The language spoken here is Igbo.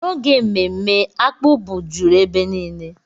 N'oge mmemme, akpu bụ juru ebe niile.